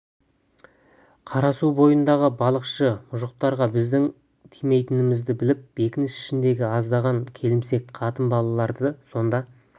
қарасу бойындағы балықшы мұжықтарға біздің тимейтінімізді біліп бекініс ішіндегі аздаған келімсек қатын-балаларды сонда жіберіпті деген сыбыс бар